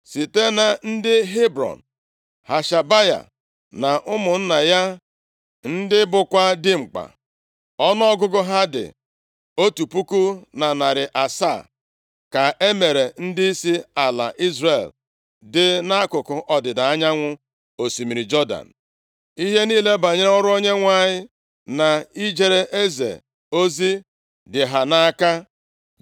Site na ndị Hebrọn, Hashabaya na ụmụnna ya ndị bụkwa dimkpa, ọnụọgụgụ ha dị otu puku na narị asaa, ka e mere ndịisi ala Izrel dị nʼakụkụ ọdịda anyanwụ osimiri Jọdan. Ihe niile banyere ọrụ Onyenwe anyị, na ijere eze ozi dị ha nʼaka.